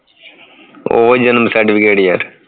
ਉਹ ਜਨਮ certificate ਯਾਰ